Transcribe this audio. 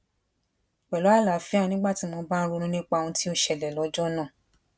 pelu alaafia nigba ti o ba n ronu nipa ohun ti o ṣẹlè lójó náà